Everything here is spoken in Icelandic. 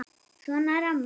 Svona er amma.